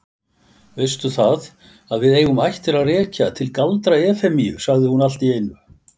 Veistu það, að við eigum ættir að rekja til Galdra-Efemíu, sagði hún allt í einu.